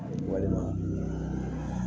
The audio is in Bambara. Walima